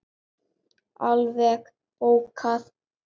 Alveg bókað!